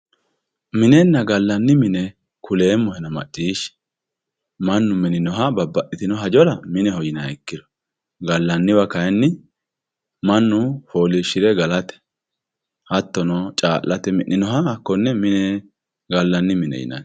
minenna gallanni mine kuleemmohena macciishshi mannu mininoha babbaxitino hajora mineho yinanniha ikkiro gallanniwa kayiinni mannu fooliishshire galate hattono caallate mi'noha hakkonne gallanni mine yinanni.